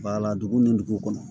Bala dugu ni dugu kɔnɔ